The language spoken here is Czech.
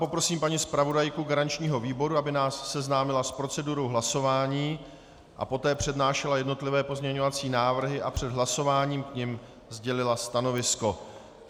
Poprosím paní zpravodajku garančního výboru, aby nás seznámila s procedurou hlasování a poté přednášela jednotlivé pozměňovací návrhy a před hlasováním k nim sdělila stanovisko.